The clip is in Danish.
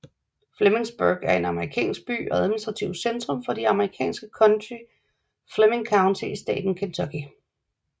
Flemingsburg er en amerikansk by og administrativt centrum for det amerikanske county Fleming County i staten Kentucky